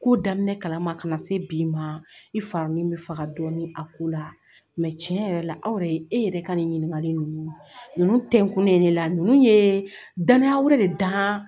Ko daminɛ kalama ka na se bi ma i farimin bɛ faga dɔɔnin a ko la cɛn yɛrɛ la aw yɛrɛ e yɛrɛ ka nin ɲininkali ninnu ninnu tɛnkunnen ne la ninnu ye danya wɛrɛ de d'an